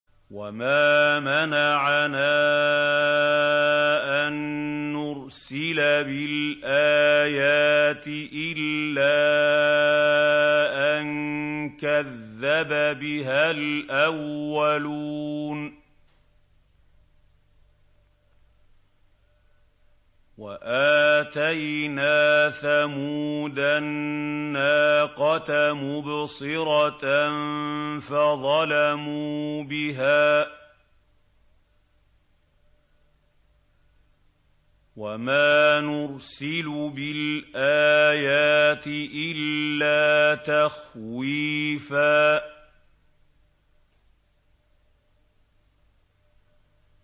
وَمَا مَنَعَنَا أَن نُّرْسِلَ بِالْآيَاتِ إِلَّا أَن كَذَّبَ بِهَا الْأَوَّلُونَ ۚ وَآتَيْنَا ثَمُودَ النَّاقَةَ مُبْصِرَةً فَظَلَمُوا بِهَا ۚ وَمَا نُرْسِلُ بِالْآيَاتِ إِلَّا تَخْوِيفًا